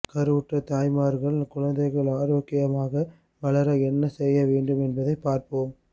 கருவுற்ற தாய்மார்கள் குழந்தைகள் ஆரோக்கியமாக வளர என்ன செய்ய வேண்டும் என்பதை பார்ப்போம்